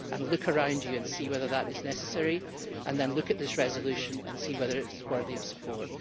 Look around you and see whether that is necessary and then look at this resolution and see whether it is worthy of support.